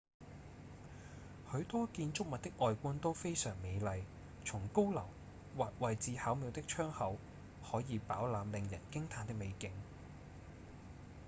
許多建築物的外觀都非常美麗從高樓或位置巧妙的窗口可以飽覽令人驚嘆的美景